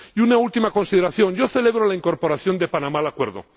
Y una última consideración yo celebro la incorporación de Panamá al Acuerdo.